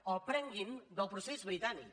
o aprenguin del procés britànic